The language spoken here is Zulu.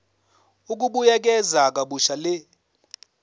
ukubuyekeza kabusha le